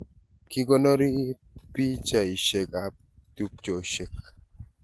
Kikonorii pichaishek ab tupcheshek